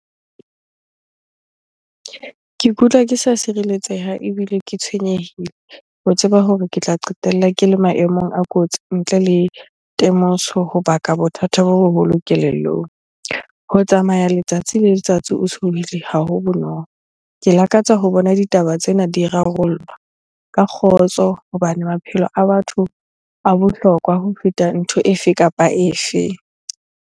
Ke ikutlwa ke sa tshireletseha ebile ke tshwenyehile ho tseba hore ke tla qetella ke le maemong a kotsi ntle le temoso ho baka bothata bo boholo kelellong. Ho tsamaya letsatsi le letsatsi o tshohile ha ho bonolo. Ke lakatsa ho bona ditaba tsena di rarollwa ka kgotso hobane maphelo a batho a bohlokwa ho feta ntho e fe kapa e fe.